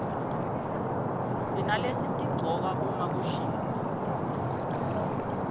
sinalesitigcoka uma kushisa